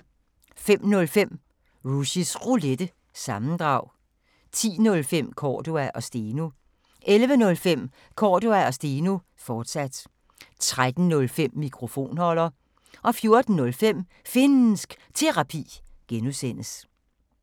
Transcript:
05:05: Rushys Roulette – sammendrag 10:05: Cordua & Steno 11:05: Cordua & Steno, fortsat 13:05: Mikrofonholder 14:05: Finnsk Terapi (G)